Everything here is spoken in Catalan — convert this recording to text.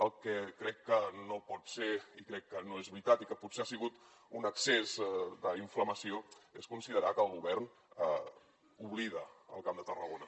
el que crec que no pot ser i crec que no és veritat i que potser ha sigut un excés d’inflamació és considerar que el govern oblida el camp de tarragona